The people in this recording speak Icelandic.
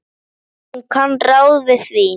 Hún kann ráð við því.